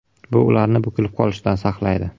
Bu ularni bukilib qolishdan saqlaydi.